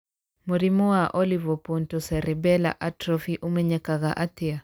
Mũrimũ wa olivopontocerebellar atrophy ũmenyekaga atĩa?